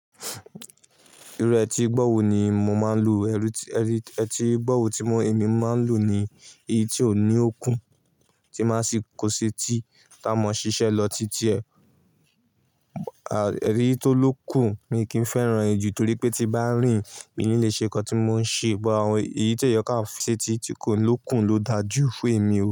Irú etígbọ̀wọ́ ni mo máa ń lò. Etígbọ̀wọ́ tí mo, èmi máa ń lò ni èyí tí ò ní òkún, tí máa sì kó ṣe tí ta mọ ṣiṣẹ́ lọ títí ẹ, à, èyí tó lókùn ni kí n fẹ́ran ju torí pé tí bá rìn, ìní lè ṣe ńkọ́ tí mo ń ṣe bọ̀ àwọn èyí tó yọ ká ṣe tí tí kò lókùn ló da jú fún èmi o.